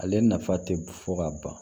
Ale nafa tɛ fɔ ka ban